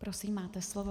Prosím, máte slovo.